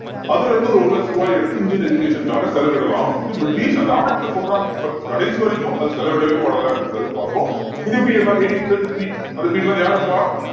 அதுல இருந்து ஒரு ஒரு லட்ச ரூபாயை எடுத்து இந்தியன் education காக செலவிடலாம் அப்படின்னு பிரிட்டிஷ் அந்த act ல சொல்றாங்க but கடைசி வரைக்கும் அது செலவிடவேபடலை அப்படின்றதை பார்ப்போம் இந்த period ல eighteen thirty-three அந்த period ல எல்லாம் யாரு இருப்பா